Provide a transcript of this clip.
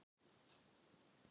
Þar átti að gera veg.